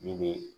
Min bɛ